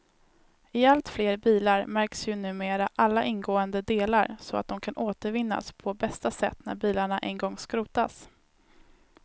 I allt fler bilar märks ju numera alla ingående delar så att de kan återvinnas på bästa sätt när bilarna en gång skrotas.